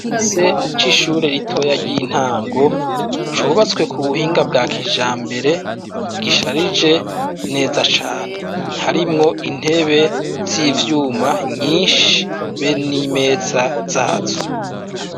Igice c'ishure ritoya ry'intango cubatswe ku buhinga bwa kijambere gisharije neza cane harimwo intebe z'ivyuma nyinshi be n'imeza zazo.